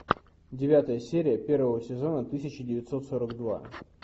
девятая серия первого сезона тысяча девятьсот сорок два